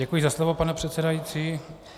Děkuji za slovo, pane předsedající.